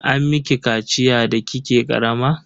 An miki kaciya da kike karama?